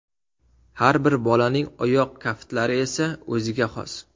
Har bir bolaning oyoq kaftlari esa o‘ziga xos.